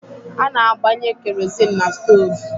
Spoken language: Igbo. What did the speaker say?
A na-agbanye kerosini n'stoovu.